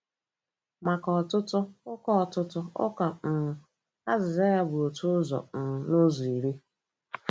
Maka ọtụtụ Ụka ọtụtụ Ụka um, azịza ya bụ otu ụzọ um n'ụzọ iri.